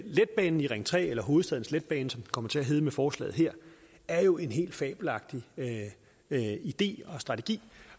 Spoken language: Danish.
letbanen i ring tre eller hovedstadens letbane som den kommer til at hedde med forslaget her er jo en helt fabelagtig idé og strategi